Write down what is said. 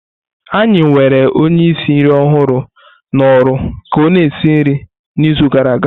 Anyị were onye ísì nri ọhụrụ na oru ka ọ-na esi nri n'izu gara aga.